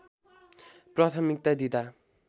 प्राथमिकता दिँदा